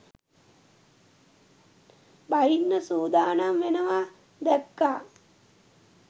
බහින්න සූදානම් වෙනවා දැක්‌කා.